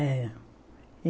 Era.